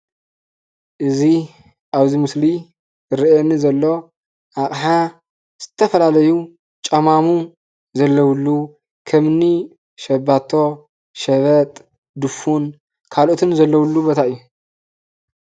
እዚ አብ ምስሊ ዝረአየኒ ዘሎ አቃሓ ዝተፈላለዩ ጨማሙ ዘለውሉ ከምእኒ ሸባቶ፣ ሸበጥ ፣ድፉን ካልኦትን ዘለውሉ ቦታ እዩ፡፡